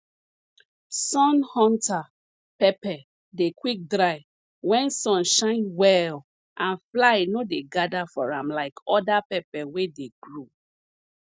sun hunter pepper dey quick dry wen sun shine well and fly no dey gather for am like other pepper wey dey grow